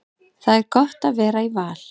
Það er gott að vera í Val.